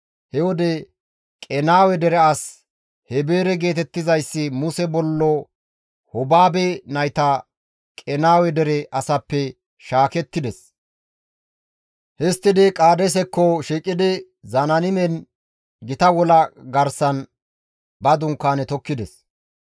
He wode Qenaawe dere as Heebere geetettizayssi Muse bollo Hobaabe nayta Qenaawe dere asappe shaakettides; histtidi Qaadeesekko shiiqidi Zanaanimen gita wola garsan ba dunkaane tokkides.